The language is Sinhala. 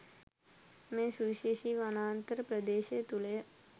මේ සුවිශේෂී වනාන්තර ප්‍රදේශය තුළ ය